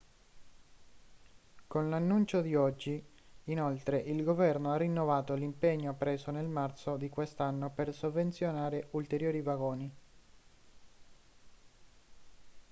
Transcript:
con l'annuncio di oggi inoltre il governo ha rinnovato l'impegno preso nel marzo di quest'anno per sovvenzionare ulteriori vagoni